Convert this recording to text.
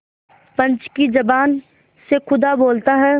पंच की जबान से खुदा बोलता है